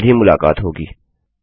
जल्द ही मुलाकात होगी